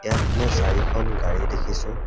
ইয়াত মই চাৰিখন গাড়ী দেখিছোঁ।